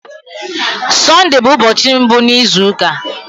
Sọnde bụ ụbọchị mbụ n'izu ụka.